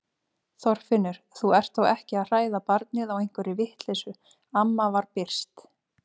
Þorfinnur, þú ert þó ekki að hræða barnið á einhverri vitleysu amma var byrst.